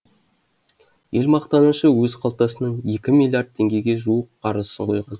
ел мақтанышы өз қалтасынан екі миллиард теңгеге жуық қаржысын құйған